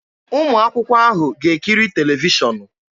Ụmụ akwụkwọ ahụ ga-ekiri televishọnụ